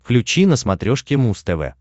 включи на смотрешке муз тв